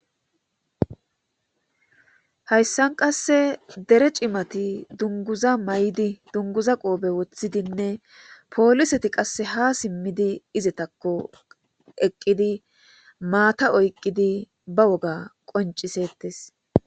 Hayisan qase dere cimat dunguza mayid duniguza qobe wothidene poliset qase ha simid izetako eqid mata oyiqid ba woga qonicisetes.